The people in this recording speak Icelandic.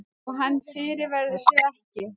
Og hann fyrirverður sig ekki.